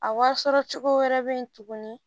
A wari sɔrɔ cogo wɛrɛ bɛ yen tuguni